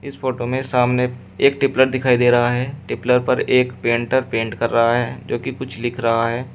Photo में सामने एक टेपलर दिखाई दे रहा है टेपलर पर एक पेंटर पेंट कर रहा है जो कि कुछ लिख रहा है।